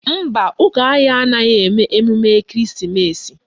Mba, ụka anyị anaghị eme emume ekereesimesi